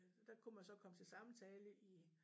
Der kunne man så komme til samtale i